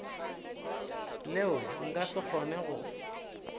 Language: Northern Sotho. leo nka se kgone go